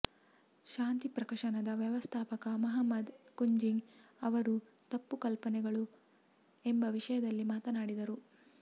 ಶಾಂತಿ ಪ್ರಕಾಶನದ ವ್ಯವಸ್ಥಾಪಕ ಮುಹಮ್ಮದ್ ಕುಂಞಿ ಅವರು ತಪ್ಪು ಕಲ್ಪನೆಗಳು ಎಂಬ ವಿಷಯದಲ್ಲಿ ಮಾತನಾಡಿದರು